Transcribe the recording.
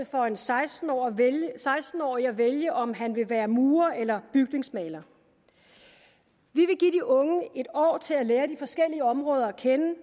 for en seksten årig at vælge om han vil være murer eller bygningsmaler vi vil give de unge en år til at lære de forskellige områder at kende